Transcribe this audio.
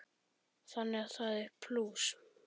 Þannig að það er plús.